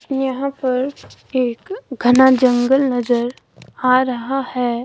यहां पर एक घना जंगल नजर आ रहा है।